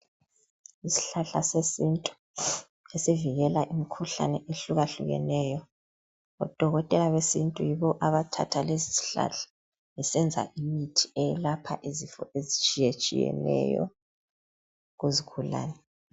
Isihlahla sesintu esivikela imikhuhlane ehlukahlukeneyo. Odokotela besintu yibo abathatha lesi sihlahla besenza imithi eyelapha izifo ezitshiyetshiyeneyo kuzigulane.